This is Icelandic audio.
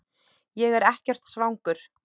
Ég er ekkert svangur